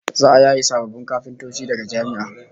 Za'a yaye sababbin kafintoci daga jami'a